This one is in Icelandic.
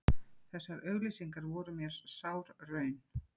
Þessar auglýsingar voru mér sár raun.